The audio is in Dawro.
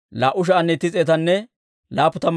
Shafaas'iyaa yaratuu 372.